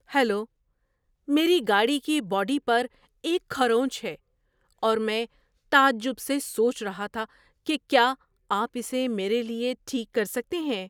Hello! میری گاڑی کی باڈی پر ایک کھرونچ ہے، اور میں تعجب سے سوچ رہا تھا کہ کیا آپ اسے میرے لیے ٹھیک کر سکتے ہیں۔